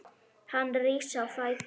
Hann rís á fætur.